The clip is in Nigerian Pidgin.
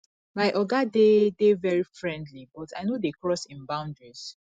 my oga dey dey very friendly but i no dey cross im boundaries